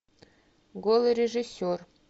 голый режиссер